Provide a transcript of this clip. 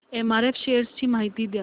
MRF shares ची माहिती द्या